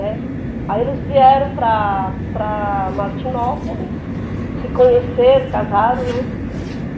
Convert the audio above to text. Né. Aí eles vieram para para Martinópolis, se conheceram, casaram, né.